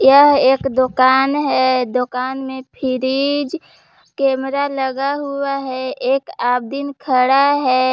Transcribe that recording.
यह एक दुकान है दुकान में फ्रिज कैमरा लगा हुआ है एक आब्दीन खड़ा है।